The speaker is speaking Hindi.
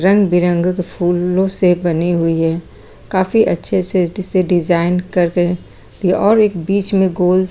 रंग-बिरंगे के फूलों से बनी हुई है काफी अच्छे से अच्छे से डिजाइन करके और एक बीच में गोल सा--